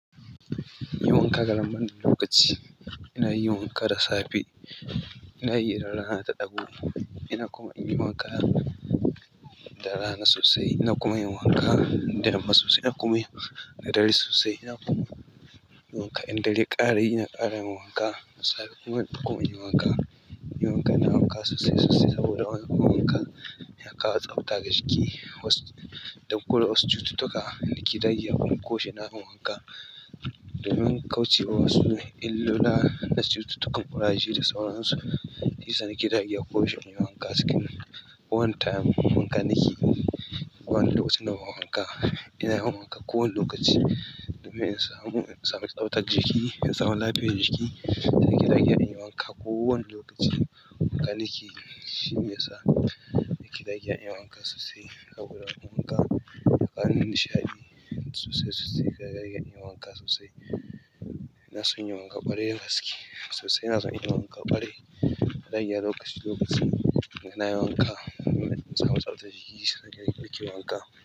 In yi wanka ƙaramar lokaci, ina yi wanka da safe, ina yi ranar ta ɗago, ina kuma in yi wanka da rana sosai, ina kuma in yi wanka da yamma sosai, ina kuma in yi da dare sosai, ina kuma in yi wanka in dare ya ƙarayi, ina ƙara yin wanka da safe kuma in koma in yi wanka. In yi wanka, ina wanka sosai sosai saboda wanka yana kawo tsabta ga jiki. Dan kore wasu cututtuka, ni kidage akwai ƙoshi ina yin wanka. Domin ƙauce wasu illola na cututtukan ƙuraje da sauran su. Shi yasa ni ke dagewa koyaushe in yi wanka cikin wani time, wanka nake yi. Ba wani lokacin da ban wanka, ina yin wanka kowane lokaci domin in samu, samu tsabtar jiki, in samu lafiyar jiki. Ni ke dagewa in yi wanka kowane lokaci, wanka nake yi shine yasa ni ke dagewa in yi wanka sosai saboda wanka yana nishaɗi sosai sosai. Kidage ina yin wanka sosai, ina son yin wanka ƙwarai da gaske sosai. Ina son inyi wanka ƙwarai, dagewa lokaci lokaci. Ina yin wanka don in samu tsabtar jiki. Ni nake yin wanka.